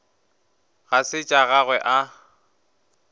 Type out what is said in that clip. ga se tša gagwe a